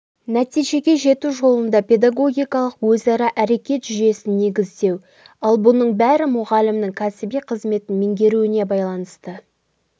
нәтижеге жету жолында педагогикалық өзара әрекет жүйесін негіздеу ал бұның бәрі мұғалімнің кәсіби қызметін меңгеруіне байланысты